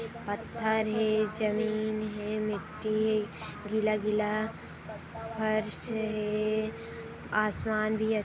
पत्थर है जमीन है मिट्टी है गीला-गीला फर्श है असमान भी अच्छ--